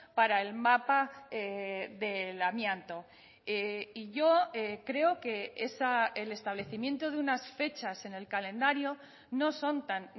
para el mapa del amianto y yo creo que el establecimiento de unas fechas en el calendario no son tan